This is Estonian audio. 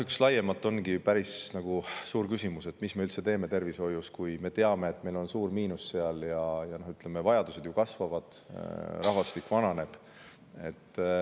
Laiemalt ongi üks päris suur küsimus see, mida me üldse teeme tervishoius, kui me teame, et meil on seal suur miinus, aga vajadused kasvavad ja rahvastik vananeb.